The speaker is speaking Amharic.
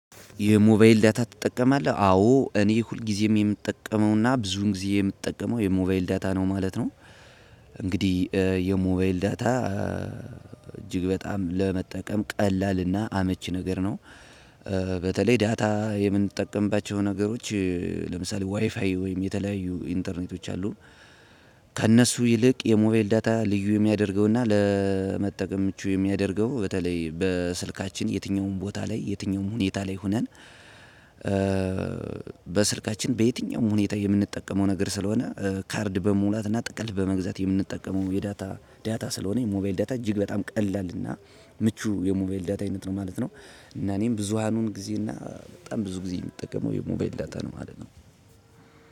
የሞባይል ዳታ ትጠቀማለህ? አዎ እኔ ሁልጊዜም የምጠቀመውና ብዙን ጊዜ የምጠቀመው የሞባይል ዳታ ነው ማለት ነው። እንግዲህ የሞባይል ዳታ። እጅግ በጣም ለመጠቀም ቀላል እና አመቺ ነገር ነው። በተለይ ዳታ የምንጠቀምባቸው ነገሮች። ለምሳሌ ዋይፋይ ወይም የተለያዩ ኢንተርኔቶች አሉ። ከእነሱ ይልቅ የሞቢል ዳታ ልዩ የሚያደርገውና ለመጠቀም ምቹ የሚያደርገው በተለይ በስልካችን የትኛውም ቦታ ላይ የትኛውም ሁኔታ ላይ ሆነን። በስልካችን በየትኛውም ሁኔታ የምንጠቀመው ነገር ስለሆነ ካርድ በሙላትና ጥቅል በመግዛት የምንጠቀመው የዳታ ዳታ ስለሆነ የሞባይል ዳታ እጅግ በጣም ቀላልና ምቹ የሞባይል ዳታ አይነት ነው ማለት ነው። እና እኔም ብዙሃኑን ጊዜ እና በጣም ብዙ ጊዜ የሚጠቀመው የሞባይል ዳታ ነው ማለት ነው።